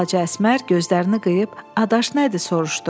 Balaca Əsmər gözlərini qıyıb, adaş nədir, soruşdu.